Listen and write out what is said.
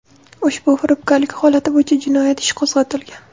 Ushbu firibgarlik holati bo‘yicha jinoyat ishi qo‘zg‘atilgan.